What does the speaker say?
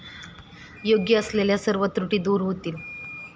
योग्य असलेल्या सर्व त्रुटी दूर होतील.